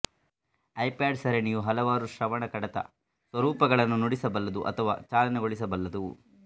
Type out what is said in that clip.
iPod ಸರಣಿಯು ಹಲವಾರು ಶ್ರವಣ ಕಡತ ಸ್ವರೂಪಗಳನ್ನು ನುಡಿಸಬಲ್ಲದು ಅಥವಾ ಚಾಲನೆಗೊಳಿಸಬಲ್ಲದು